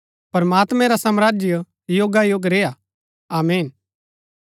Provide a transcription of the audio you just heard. प्रमात्मैं रा साम्राज्य युगायुग रेय्आ आमीन